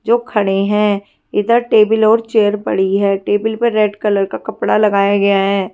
जो खड़े है इधर टेबल और चेयर पड़ी है टेबल पर रेड कलर का कपड़ा लगाया गया है।